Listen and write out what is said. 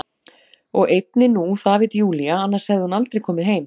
Og einnig nú, það veit Júlía, annars hefði hún aldrei komið heim.